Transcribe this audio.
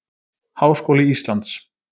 Háskóli Íslands.